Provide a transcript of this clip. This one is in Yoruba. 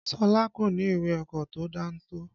Ṣọlá kò ní ìwé ọkọ̀ tó dáńtọ́.